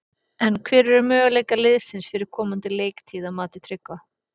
En hver eru möguleikar liðsins fyrir komandi leiktíð að mati Tryggva?